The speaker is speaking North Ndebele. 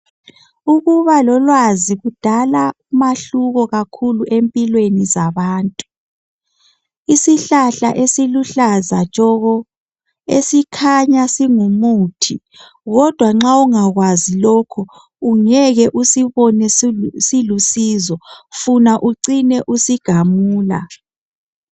Ukuba lolwazi kudala umahluko kakhulu empilweni zabantu. Isihlahla esiluhlaza tshoko esikhanya singumuthi kodwa nxa ungakwazi lokho ungeke usibone silusizo funa ucine usigamula.